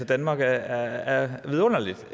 danmark er vidunderlig